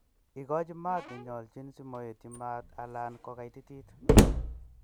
Ikochi maat nenyolchin simoetyi maat alan kokaititit.